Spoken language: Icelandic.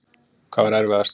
Hvað var erfiðast?